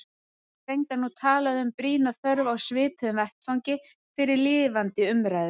Ég heyri reyndar nú talað um brýna þörf á svipuðum vettvangi fyrir lifandi umræðu.